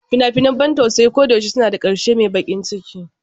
Fina-finan ban tausayi koyaushe suna da ƙarshe mai baƙin ciki.